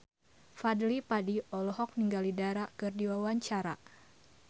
Fadly Padi olohok ningali Dara keur diwawancara